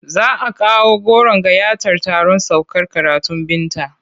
Za a kawo goron gayyatar taron saukar karatun Binta.